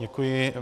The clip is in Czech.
Děkuji.